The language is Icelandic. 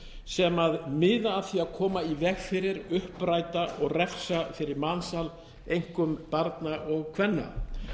sem miða að því að koma í veg fyrir uppræta og refsa fyrir mansal einkum barna og kvenna